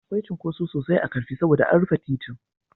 Akwai cunkoso sosai a Ƙarfi saboda an rufe titin.